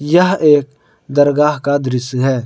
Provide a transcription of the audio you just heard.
यह एक दरगाह का दृश्य है।